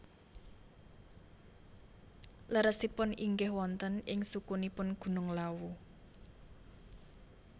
Leresipun inggih wonten ing sukunipun Gunung Lawu